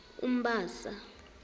umbasa